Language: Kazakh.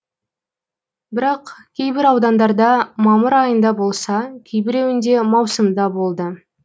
бірақ кейбір аудандарда мамыр айында болса кейбіреуінде маусымда болды